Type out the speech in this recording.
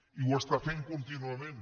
i ho està fent contínuament